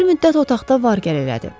Bir müddət otaqda var-gəl elədi.